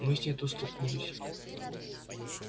мы с ней тут столкнулись